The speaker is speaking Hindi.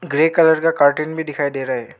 ग्रे कलर का कार्टन भी दिखाई दे रहा है।